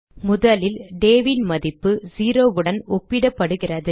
முதலில் day ன் மதிப்பு 0 உடன் ஒப்பிடப்படுகிறது